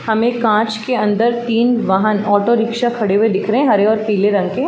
हमे कांच के अंदर तीन वाहन ऑटो रिक्शा खड़े हुए दिख रहे है हरे और पिले रंग के --